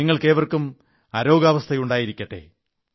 നിങ്ങൾക്കേവർക്കും അരോഗാവസ്ഥയായിരിക്കട്ടെ